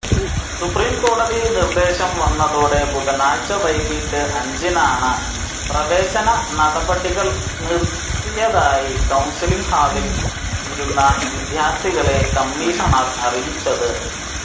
സുപ്രീംകോടതി നിർദേശംവന്നതോടെ ബുധനാഴ്ച വൈകീട്ട് അഞ്ചിനാണ് പ്രവേശന നടപടികൾ നിർത്തിയതായി കൌൺസലിങ് ഹാളിൽ ഇരുന്ന വിദ്യാർഥികളെ കമ്മിഷണർ അറിയിച്ചത്